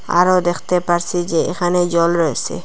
আরও দেখতে পারসি যে এখানে জল রয়েসে।